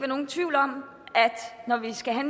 nogen tvivl om at når vi skal have